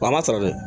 Wa a ma sara dɛ